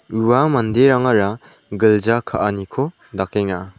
ua manderangara gilja ka·aniko dakenga.